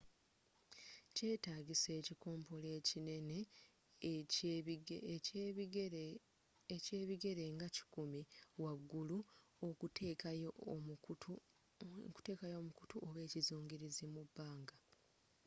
kyetagisa ekikompola ekinene ekyebigere nga 100 waggulu okuteekayo omukutu oba ekizungirizi mu bbanga